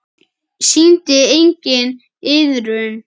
Sýndi enginn iðrun?